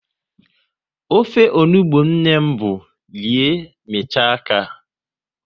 Ofe onugbu nne m bụ rie, michaa aka